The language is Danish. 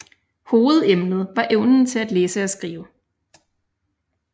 Hovedemnet var evnen til at læse og skrive